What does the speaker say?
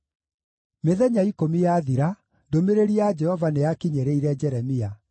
Mĩthenya ikũmi yathira, ndũmĩrĩri ya Jehova nĩyakinyĩrĩire Jeremia.